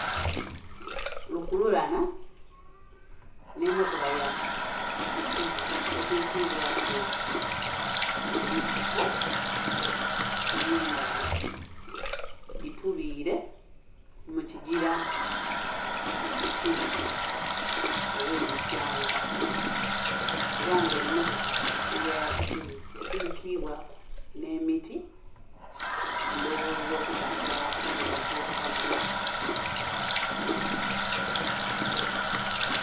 Lukululana n'emotoka ya isuzu etwikibwaku ebifuko ebyendhaghulo bitubire mukigira ekibi olwebityanka era nga eno emotoka ya isuzu esigikibwaku n'emiti ndhoghoza okutasa obutagwa.